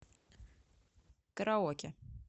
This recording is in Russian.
караоке